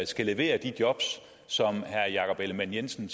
skal levere de jobs som herre jakob ellemann jensen